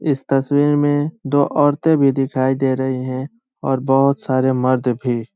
इस तस्वीर में दो औरते भी दिखाई दे रही हैं और बहुत सारे मर्द भी।